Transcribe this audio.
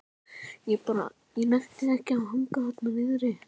Ég bara. ég nennti ekki að hanga þarna niðri.